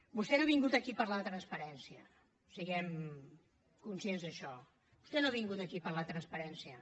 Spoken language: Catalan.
vostè no ha vingut aquí a parlar de transparència siguem conscients d’això vostè no ha vingut aquí a parlar de transparència